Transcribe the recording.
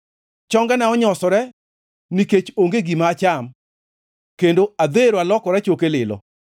Chongena onyosore nikech onge gima acham, kendo adhero alokora choke lilo.